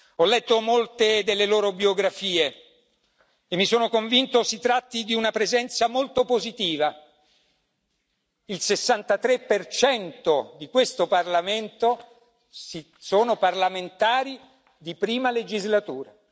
Ho letto molte delle loro biografie e mi sono convinto si tratti di una presenza molto positiva. Il 63 di questo Parlamento è composto da parlamentari di prima legislatura.